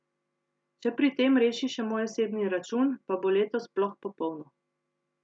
Če pri tem reši še moj osebni račun, pa bo leto sploh popolno.